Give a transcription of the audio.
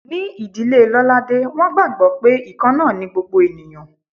Ní ìdílé Lolade, wọ́n gbàgbó pé ikanna ni gbogbo ènìyàn.